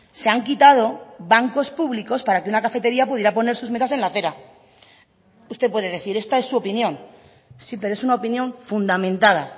se han quitado bancos públicos para que una cafetería pudiera poner sus mesas en la acera usted puede decir esta es su opinión sí pero es una opinión fundamentada